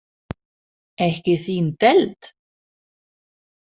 Ekki þín deild?